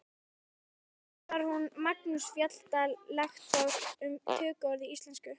Síðan talar Magnús Fjalldal lektor um tökuorð í íslensku.